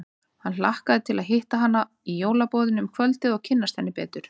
Hann hlakkaði til að hitta hana í jólaboðinu um kvöldið og kynnast henni betur.